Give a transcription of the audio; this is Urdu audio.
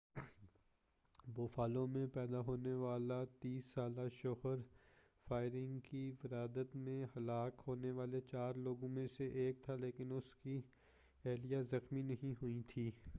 بوفالو میں پیدا ہونے والا 30 سالہ شوہر فائرنگ کی واردات میں ہلاک ہونے والے چار لوگوں میں سے ایک تھا لیکن اس کی اہلیہ زخمی نہیں ہوئی تھی